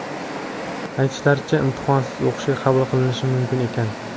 Aytishlaricha imtihonsiz o‘qishga qabul qilinishim mumkin ekan.